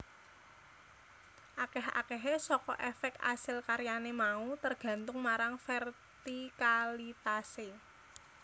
Akeh akehe saka efek asil karyane mau tergantung marang vertikalitase